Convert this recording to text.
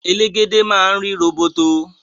Elégédé máa ni ri roboto.